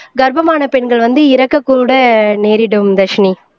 கர்ப்பமான பெண்கள் வந்து இறக்கக்கூட நேரிடும் தர்ஷினி